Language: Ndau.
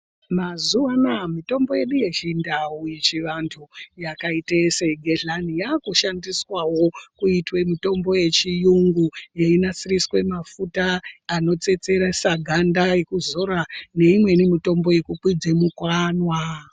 Mazuwanaya mitombo yedu yechindau yechivantu yakaite segehlani yakushandiswawo kuita mitombo yechiyungu yechinasiriswa mafuta anotsetseresa ganda yekuzora neimweni mitombo yekukwidze mukanwa.